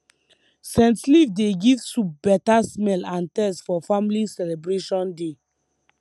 scent leaf dey give soup beta smell and taste for family celebration day